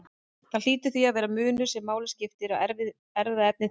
Það hlýtur því að vera munur sem máli skiptir á erfðaefni þeirra.